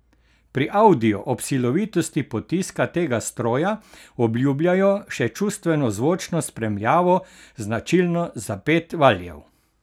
Pri Audiju ob silovitosti potiska tega stroja obljubljajo še čustveno zvočno spremljavo značilno za pet valjev.